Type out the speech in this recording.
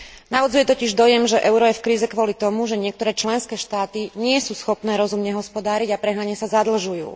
Navodzuje totiž dojem, že euro je v kríze kvôli tomu, že niektoré členské štáty nie sú schopné rozumne hospodáriť a prehnane sa zadlžujú.